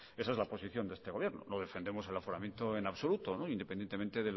esa es la posición de este gobierno no defendemos el aforamiento en absoluto independientemente